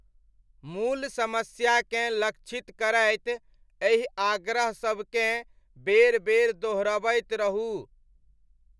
मूल समस्याकेँ लक्षित करैत एहि आग्रह सबकेँ बेर बेर दोहरबैत रहू।